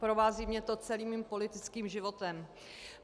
Provází mě to celým mým politickým životem.